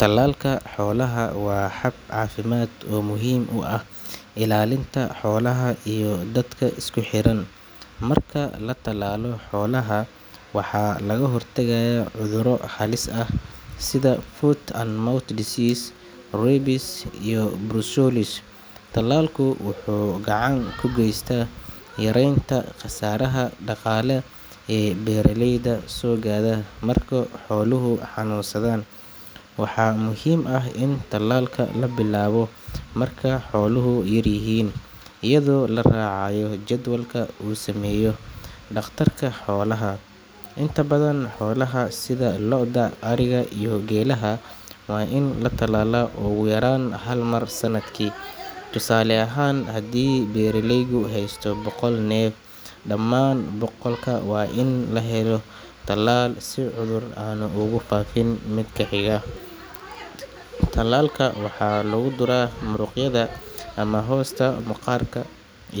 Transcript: Talalka xolaha waa xad cafimad oo muhim uah ilalinta xolaha iyo dadka iskuxiran marka latalalo xolaha waxa laga hor tagaya cuduro xalis ah sidhaa Food and mouth disease rabies iyo Brucellosis talalku wuxu gacan kugeysta yarenta qasaraha daqale Ee beeralayda so gara marku xoluhu xanunsadhan waaxa muhim ah in talalka la bilawo marku xolaha yaryihin iyadho laracayo jadwalka uu sameyo daqtarka xolaha intaa badhan xolaha sidha lodaa, ariga iyo gelaha waa ina la talal ugu yaran hal mar sanadkii tusale ahan hadii beeraleygu haystana boqolal nel daaman boqolka waa in lahelo talal si cudur aan ugu fafin midka higa talalka waxa lagu dura muruqyadha ama hosta maqarka